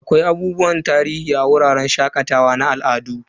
Akwai abubuwan tarihi a wuraren shakatawa na al'adu.